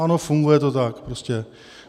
Ano, funguje to tak prostě.